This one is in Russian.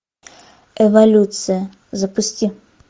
эволюция запусти